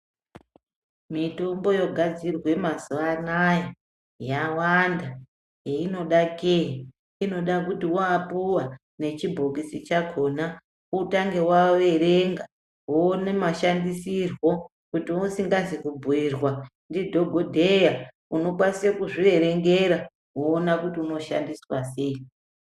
Mitombo yogadzirwa zve mazuwa ano aya yawanda heyinoda kei inoda kuti wapuwa nechibhokisa chakona inoda kuti utange waerenga wowona mashandisirwo kuti usingazi kubhuirwa ndiadhokodheya unokwanise kuzviverengera woona kuti unoshandiswa sei.